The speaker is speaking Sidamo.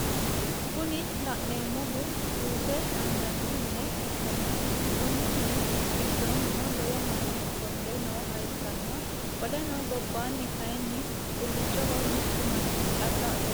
Kuni laneemmohu juuse angganni mine ikkanna Konni mini gidoonino lowo manni ofolle nooha ikkanna qoleno gobaani kaayiin xullochoho mittu manchi calla ofolle no